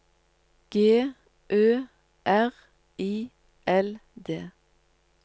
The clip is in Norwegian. G Ø R I L D